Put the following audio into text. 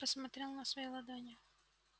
посмотрел на свои ладони